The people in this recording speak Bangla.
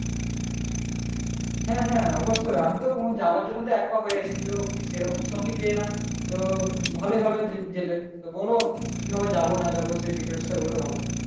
হ্যাঁ হ্যাঁ অবশ্যই আমি তো উহ যাবার জন্যে তো এক পা হয়ে আছি তো সেরকম সঙ্গি পেয়ে না তো ভালই হবে গেলে বল কিভােবে যাব না যাব সে details টা বললে ভালো হয়